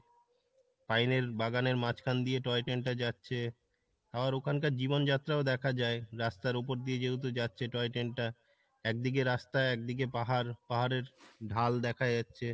পাইনের বাগানের মাঝখান দিয়ে toy train টা যাচ্ছে, আর ওখানকার জীবনযাত্রা দেখা যায় রাস্তার উপর দিয়ে যেহেতু যাচ্ছে toy train টা একদিকে রাস্তা একদিকে পাহাড় পাহাড়ের ঢাল দেখা যাচ্ছে।